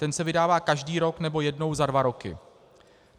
Ten se vydává každý rok nebo jednou za dva roky.